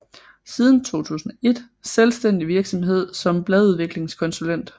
Siden 2001 selvstændig virksomhed som bladudviklingskonsulent